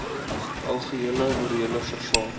algehele morele verval